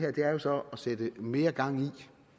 er jo så at sætte mere gang i